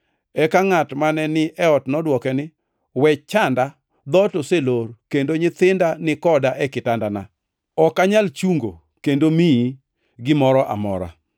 Eka ngʼat mane ni e ot nodwoke ni, ‘We chanda. Dhoot oselor, kendo nyithinda ni koda e kitanda. Ok anyal chungo kendo miyi gimoro amora.’